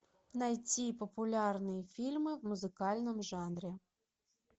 найти популярные фильмы в музыкальном жанре